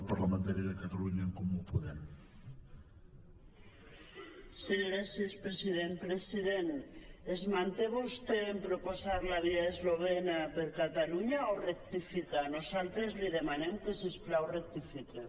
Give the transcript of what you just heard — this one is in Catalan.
president es manté vostè en proposar la via eslovena per a catalunya o rectifica nosaltres li demanem que si us plau rectifiqui